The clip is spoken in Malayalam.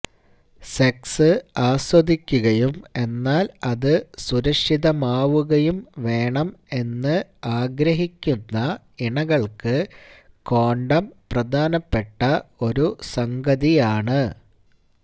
സെക്സ് ആസ്വദിക്കുകയും എന്നാല് അത് സുരക്ഷിതമാവുകയും വേണം എന്ന് ആഗ്രഹിക്കുന്ന ഇണകള്ക്ക് കോണ്ടം പ്രധാനപ്പെട്ട ഒരു സംഗതിയാണ്